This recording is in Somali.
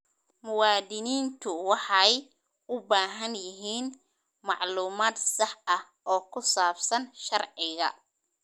Muwaadiniintu waxay u baahan yihiin macluumaad sax ah oo ku saabsan sharciga.